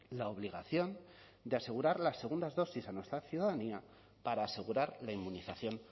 la obligación de asegurar las segundas dosis a nuestra ciudadanía para asegurar la inmunización